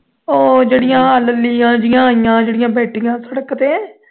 ਉਹੋ ਜਿਹੜੀ ਲੂਲੀਆਂ ਜਹੀਆਂ ਆਈਆਂ ਚਿੜੀਆਂ ਬੈਠੀਆਂ ਸੜਕ ਤੇ